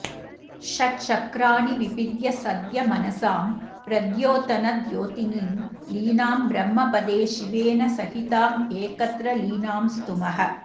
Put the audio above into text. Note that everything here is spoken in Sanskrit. षट्चक्राणि विभिद्य सद्य मनसां प्रद्योतनद्योतनीं लीनां ब्रह्मपदे शिवेन सहितामेकत्र लीनां स्तुमः